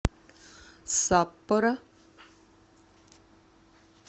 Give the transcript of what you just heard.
саппоро